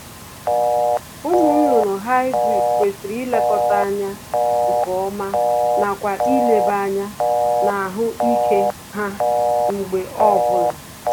Ụmụ nnụnụ Hybrid kwesịrị ilekọta anya nkeọma nakwa ileba anya n'ahụ ike ha mgbe ọ bụla